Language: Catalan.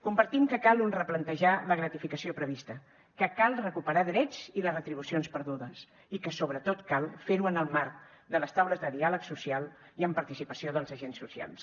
compartim que cal replantejar la gratificació prevista que cal recuperar drets i les retribucions perdudes i que sobretot cal fer ho en el marc de les taules de diàleg social i amb participació dels agents socials